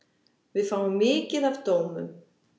Við fáum mikið af dómum.